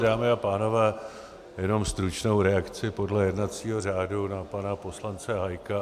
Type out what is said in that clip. Dámy a pánové, jenom stručnou reakci podle jednacího řádu na pana poslance Hájka.